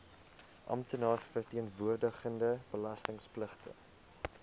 amptenaar verteenwoordigende belastingpligtige